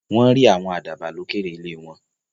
Wọ́n rí àwọn àdàbà lókèèrè ilé wọn.